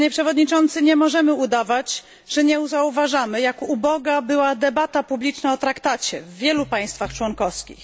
Nie możemy udawać, że nie zauważamy jak uboga była debata publiczna o traktacie w wielu państwach członkowskich.